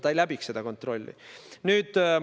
Ta ei läbiks seda kontrolli.